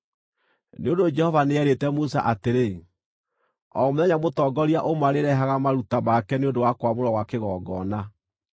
Nĩ ũndũ Jehova nĩeerĩte Musa atĩrĩ, “O mũthenya, mũtongoria ũmwe arĩrehaga maruta make nĩ ũndũ wa kwamũrwo gwa kĩgongona.”